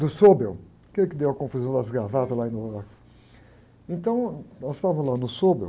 do, aquele que deu a confusão das gravatas lá em... Então, nós estávamos lá no,